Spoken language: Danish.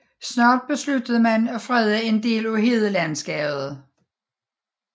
Snart besluttede man at frede en del af hedelandskabet